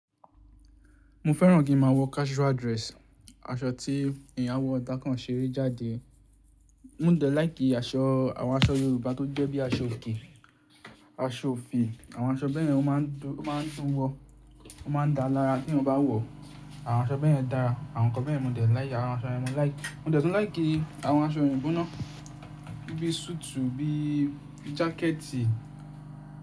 Mo fẹ́ràn kí n máa wọ casual dress. Aṣọ tí ẹ̀yàn wọ tá kan ṣeré jáde. Mo dẹ̀ láì kí aṣọ, àwọn aṣọ Yorùbá tó jẹ́ bí i aṣọ òkè, aṣọ òfì, àwọn aṣọ bẹ́ẹ̀ yẹn ó máa ń dùn wọ. Ó máa ń dáa lára teyán bá wọ̀. Àwọn aṣọ bẹ́yẹn dára. Àwọn nǹkan bẹ́yẹn mo dẹ̀ láì yá. Àwọn aṣọ yen mo láì ki, mo dẹ̀ tún láì kí àwọn aṣọ òyìnbó náà, bí i súùtù, bí i jákẹ́ẹ̀tì.